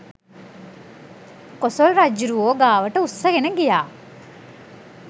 කොසොල් රජ්ජුරුවෝ ගාවට උස්සගෙන ගියා